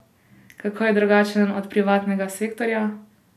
Kako je drugačen od privatnega sektorja?